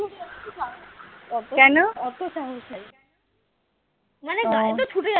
অত অত সাহস নাই মানে গাড়ি তো ছুটে